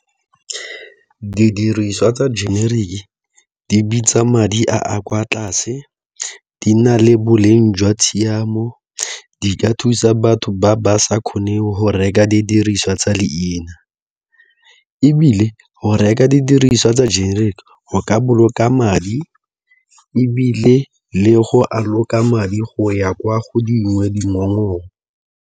Didiriswa tsa generic di bitsa madi a kwa tlase, di na le boleng jwa tshiamo, di ka thusa batho ba ba sa kgoneng go reka didiriswa tsa tsa leina ebile go reka didiriswa tsa generic go ka boloka madi ebile le go madi go ya kwa go dingwe dingongoro.